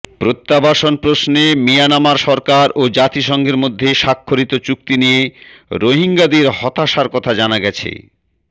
প্রত্যাবাসন প্রশ্নে মিয়ানমার সরকার ও জাতিসংঘের মধ্যে স্বাক্ষরিত চুক্তি নিয়ে রোহিঙ্গাদের হতাশার কথা জানা গেছে